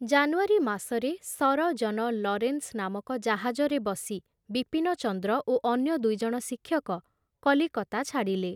ଜାନୁଆରୀ ମାସରେ Sir John Lawrence ନାମକ ଜାହାଜରେ ବସି ବିପିନଚନ୍ଦ୍ର ଓ ଅନ୍ୟ ଦୁଇଜଣ ଶିକ୍ଷକ କଲିକତା ଛାଡ଼ିଲେ।